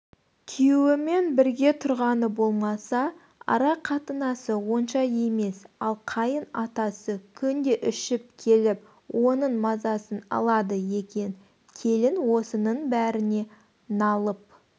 күйеуімен бірге тұрғаны болмаса ара қатынасы онша емес ал қайын атасы күнде ішіп келіп оныңмазасын алады екен келін осының бәріне налып